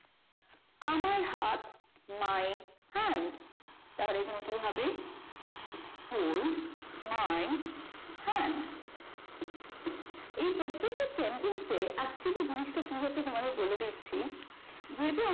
my hand তাহলে এখানে কি হবে hold my hand এই প্রত্যেকটা sentence এ actually জিনিস টা কি হচ্ছে তোমাদেরকে বলে দিচ্ছিযেহেতু